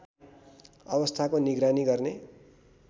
अवस्थाको निगरानी गर्ने